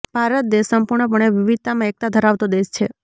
ભારત દેશ સંપૂર્ણપણે વિવિધતામાં એકતા ધરાવતો દેશ છે